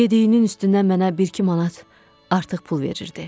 Yediyinin üstünə mənə bir-iki manat artıq pul verirdi.